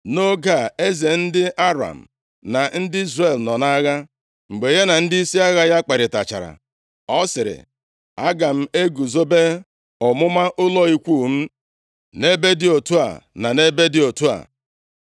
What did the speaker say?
Nʼoge a, eze ndị Aram + 6:8 Nke bụ Ben-Hadad nke abụọ na ndị Izrel nọ nʼagha. Mgbe ya na ndịisi agha ya kparịtachara, ọ sịrị, “Aga m eguzobe ọmụma ụlọ ikwu m nʼebe dị otu a na nʼebe dị otu a.”